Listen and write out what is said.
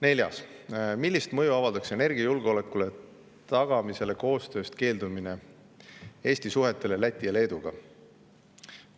Neljas küsimus: "Millist mõju avaldaks energiajulgeoleku tagamise koostööst keeldumine Eesti suhetele Läti ja Leeduga?